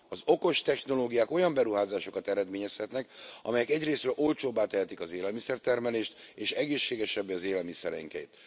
Az okos technológiák olyan beruházásokat eredményezhetnek, amelyek egyrészről olcsóbbá tehetik az élelmiszer termelést, és egészségesebbé az élelmiszereinket.